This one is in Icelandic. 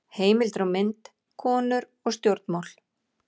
Heimildir og mynd: Konur og stjórnmál.